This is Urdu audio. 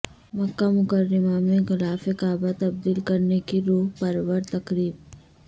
مکہ مکرمہ میں غلاف کعبہ تبدیل کرنے کی روح پرور تقریب